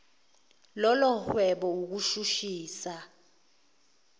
lolo hwebo ukushushisa